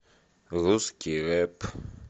русский рэп